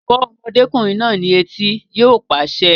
Fọ́ ọmọdékùnrin náà ní etí! Yóò pàṣẹ